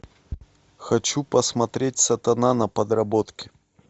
хочу посмотреть сатана на подработке